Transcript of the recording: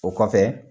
O kɔfɛ